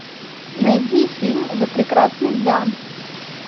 найди фильм за прекрасных дам